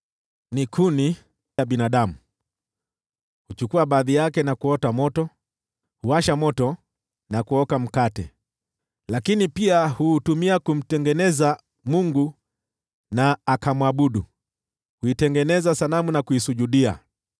Ni kuni ya binadamu: yeye huchukua baadhi yake na kuota moto, huwasha moto na kuoka mkate. Lakini pia huutumia kumtengeneza mungu na akamwabudu, huitengeneza sanamu na kuisujudia.